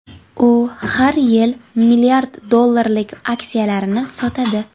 U har yil milliard dollarlik aksiyalarini sotadi.